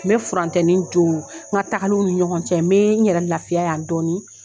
N bɛ furantɛni don n ka taagaliw ni ɲɔgɔn cɛ, n bɛ n yɛrɛ lafiya yan dɔɔni.